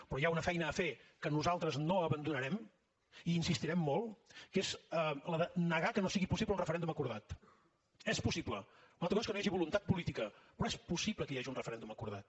però hi ha una feina a fer que nosaltres no abandonarem i hi insistirem molt que és la de negar que no sigui possible un referèndum acordat és possible una altra cosa és que no hi hagi voluntat política però és possible que hi hagi un referèndum acordat